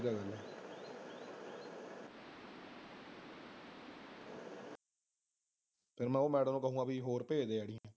ਫਿਰ ਮੈਂ ਉਹ madam ਨੂੰ ਕਹਾਂਗਾ ਵੀ ਹੋਰ ਭੇਜਦੇ ID